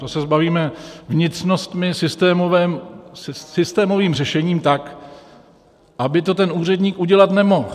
Toho se zbavíme vnitřnostmi, systémovým řešením, tak aby to ten úředník udělat nemohl.